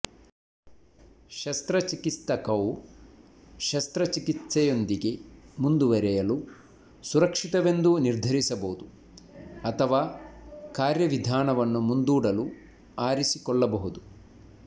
ಶಸ್ತ್ರಚಿಕಿತ್ಸಕವು ಶಸ್ತ್ರಚಿಕಿತ್ಸೆಯೊಂದಿಗೆ ಮುಂದುವರೆಯಲು ಸುರಕ್ಷಿತವೆಂದು ನಿರ್ಧರಿಸಬಹುದು ಅಥವಾ ಕಾರ್ಯವಿಧಾನವನ್ನು ಮುಂದೂಡಲು ಆರಿಸಿಕೊಳ್ಳಬಹುದು